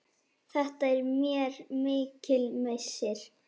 Þetta er mér mikill missir.